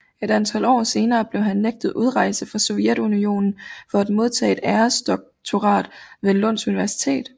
Et antal år senere blev han nægtet udrejse fra Sovjetunionen for at modtage et æresdoktorat ved Lunds Universitet